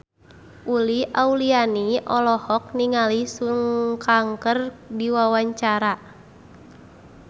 Uli Auliani olohok ningali Sun Kang keur diwawancara